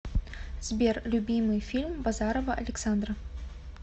сбер любимый фильм базарова александра